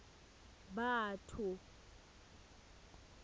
batho